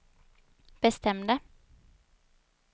bestämde